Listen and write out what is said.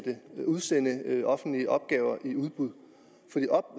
sende offentlige opgaver i udbud